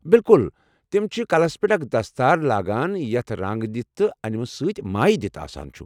بِلكُل ! تم چھِ کلس پٮ۪ٹھ اکھ دستار لاگان یتھ رنٛگ دتھ تہٕ انِمہٕ سۭتۍ مایہ دِتھ آسان چُھ ۔